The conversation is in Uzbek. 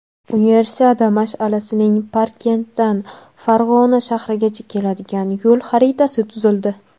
Universiada mash’alasining Parkentdan Farg‘ona shahrigacha keladigan yo‘l xaritasi tuzildi.